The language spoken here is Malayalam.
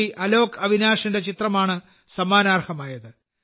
അലോക് അവിനാഷിന്റെ ചിത്രമാണ് സമ്മാനാർഹമായത്